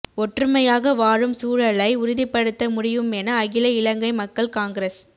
ஒற்றுமையாக வாழும் சூழலை உறுதிப்படுத்த முடியுமென அகில இலங்கை மக்கள் காங்கிரஸ்